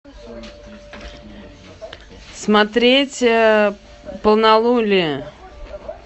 смотреть полнолуние